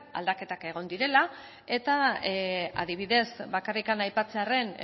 aldaketak egon direla eta adibidez bakarrik aipatzearren